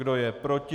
Kdo je proti?